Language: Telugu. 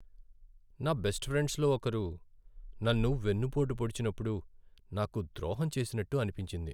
నా బెస్ట్ ఫ్రెండ్డ్స్ లో ఒకరు నన్ను వెన్నుపోటు పొడిచినప్పుడు నాకు ద్రోహం చేసినట్టు అనిపించింది .